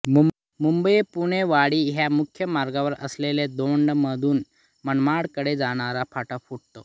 मुंबईपुणेवाडी ह्या मुख्य मार्गावर असलेल्या दौंडमधून मनमाडकडे जाणारा फाटा फुटतो